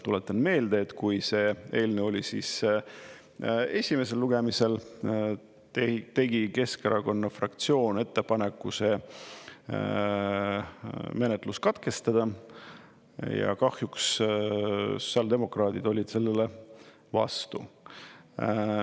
Tuletan meelde, et kui see eelnõu oli esimesel lugemisel, tegi Keskerakonna fraktsioon ettepaneku menetlus katkestada ja kahjuks sotsiaaldemokraadid olid sellele vastu.